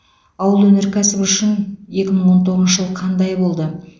ауыл өнеркәсібі үшін екі мың он тоғызыншы жыл қандай болды